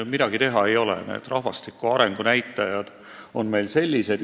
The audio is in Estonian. Midagi teha ei ole, rahvastiku arengu näitajad on meil just sellised.